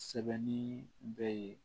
Sɛbɛnni bɛ yen